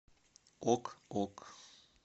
ок ок